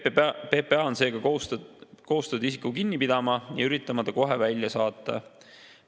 PPA on seega kohustatud isiku kinni pidama ja üritama ta kohe välja saata.